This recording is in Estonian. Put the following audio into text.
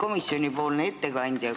Austatud ettekandja!